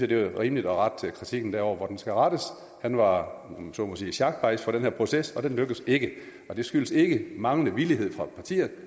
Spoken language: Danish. det er rimeligt at rette kritikken derover hvor den skal rettes han var om man så må sige sjakbajs for den her proces og den lykkedes ikke og det skyldtes ikke manglende villighed fra partier i